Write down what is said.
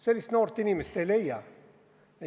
Sellist noort inimest ei leia.